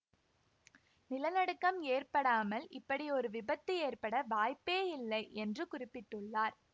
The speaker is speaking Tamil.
நிலநடுக்கம் ஏற்படாமல் இப்படி ஒரு விபத்து ஏற்பட வாய்ப்பே இல்லை என்று குறிப்பிட்டுள்ளார்